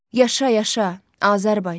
Yaşa-yaşa, Azərbaycan.